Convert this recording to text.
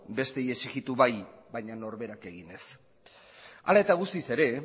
besteei exigitu bai baina norberak egin ez hala eta guztiz ere